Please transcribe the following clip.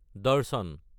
দৰ্শন